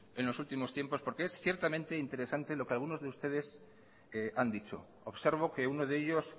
en los últimos tiempos porque es ciertamente interesante lo que algunos de ustedes han dicho observo que uno de ellos